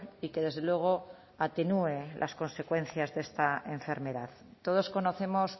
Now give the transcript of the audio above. y que desde luego atenúe las consecuencias de esta enfermedad todos conocemos